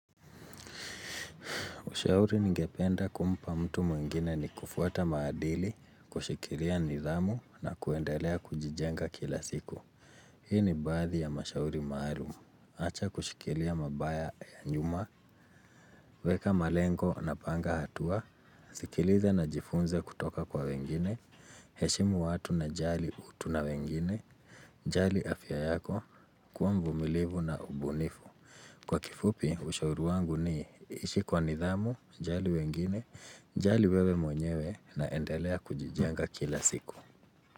Ushauri ningependa kumpa mtu mwingine ni kufuata maadili, kushikilia nidhamu na kuendelea kujijenga kila siku. Hii ni baadhi ya mashauri maalumu. Acha kushikilia mabaya ya nyuma, weka malengo napanga hatua, sikiliza na jifunze kutoka kwa wengine, heshimu watu na jali utu na wengine, jali afya yako, kua mvumilivu na ubunifu. Kwa kifupi, ushauri wangu ni ishi kwa nidhamu, jali wengine, jali wewe mwenyewe na endelea kujijenga kila siku.